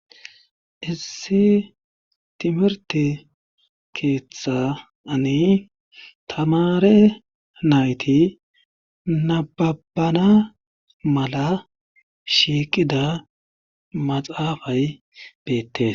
Issi timirte keeththan taamare nayti nababana mala shiiqida maxaafay beetees.